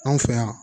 Anw fɛ yan